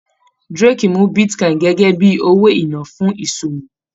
Drake mú bitcoin gẹgẹ bíi owó iná fún ìṣòwò.